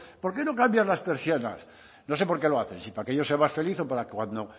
por qué no cambias las persianas no sé por qué lo hacen si para que yo sea más feliz o para cuando